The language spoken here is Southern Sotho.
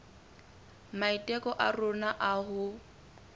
maiteko a rona a ho